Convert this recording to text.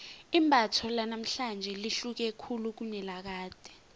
imbatho lanamhlanje lihluke khulu kunelakade